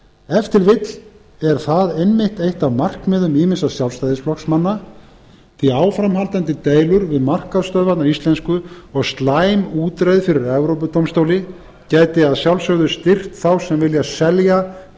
til vill er það einmitt eitt af markmiðum ýmissa sjálfstæðisflokksmanna því áframhaldandi deilur um markaðsstöðvarnar íslensku og slæm útreið fyrir evrópudómstóli gæti auðvitað styrkt þá sem vilja selja